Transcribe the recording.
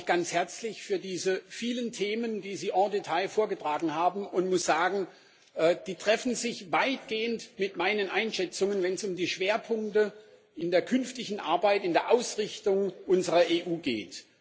Ich bedanke mich ganz herzlich für diese vielen Themen, die Sie en détail vorgetragen haben, und muss sagen Die treffen sich weitgehend mit meinen Einschätzungen, wenn es um die Schwerpunkte in der künftigen Arbeit, in der Ausrichtung unserer EU geht.